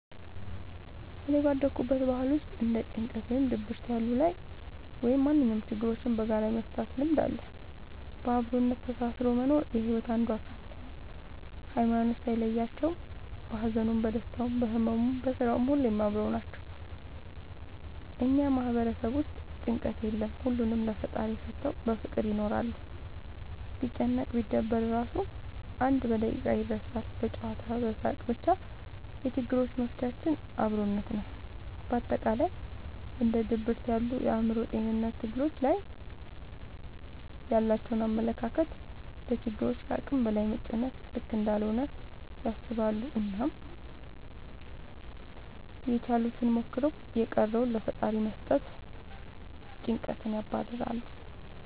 እኔ ባደኩበት ባህል ውስጥ እንደ ጭንቀት ወይም ድብርት ያሉ ላይ ወይም ማንኛውም ችግሮችን በጋራ የመፍታት ልምድ አለ። በአብሮነት ተሳስሮ መኖር የሒወት አንዱ አካል ነው። ሀይማኖት ሳይለያቸው በሀዘኑም በደስታውም በህመሙም በስራውም ሁሌም አብረው ናቸው። እኛ ማህበረሰብ ውስጥ ጭንቀት የለም ሁሉንም ለፈጣሪ ሰተው በፍቅር ይኖራሉ። ቢጨነቅ ቢደበር እራሱ አንድ በደቂቃ ይረሳል በጨዋታ በሳቅ በቻ የችግሮች መፍቻችን አብሮነት ነው። በአጠቃላይ እንደ ድብርት ያሉ የአእምሮ ጤንነት ትግሎች ላይ ያላቸው አመለካከት ለችግሮች ከአቅም በላይ መጨነቅ ልክ እንዳልሆነ ያስባሉ አናም ያችሉትን ሞክረው የቀረውን ለፈጣሪ በመስጠት ጨንቀትን ያባርራሉ።